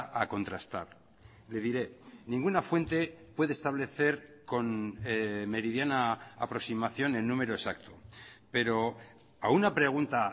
a contrastar le diré ninguna fuente puede establecer con meridiana aproximación en número exacto pero a una pregunta